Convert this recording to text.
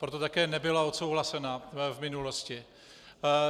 Proto také nebyla odsouhlasena v minulosti.